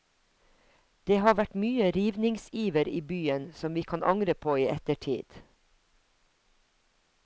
Det har vært mye rivningsiver i byen som vi kan angre på i ettertid.